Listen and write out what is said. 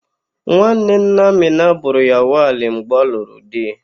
Nnanne nna Amịna bụrụ ya wali mgbe ọ lụrụ di.